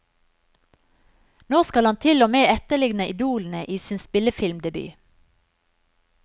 Nå skal han til og med etterligne idolene i sin spillefilmdebut.